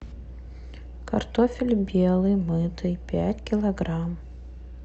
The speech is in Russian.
картофель белый мытый пять килограмм